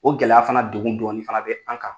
O gɛlɛya fana degun dɔɔni fana bɛ an kan.